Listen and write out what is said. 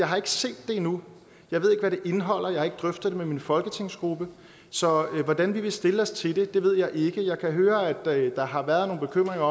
har set det endnu jeg ved ikke hvad det indeholder og jeg har ikke drøftet det med min folketingsgruppe så hvordan vi vil stille os til det ved jeg ikke jeg kan høre at der har været nogle bekymringer